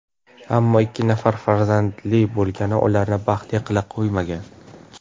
Ammo ikki nafar farzandli bo‘lgani ularni baxtli qilib qo‘ymagan.